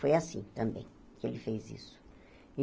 Foi assim, também, que ele fez isso.